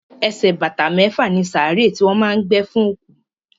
Ẹsẹ̀ bàtà mẹ́fà ni sàárè tí wọ́n má a ń gbé fún òkú.